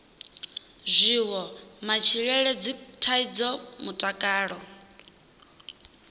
zwiwo matshilele dzithaidzo mutakalo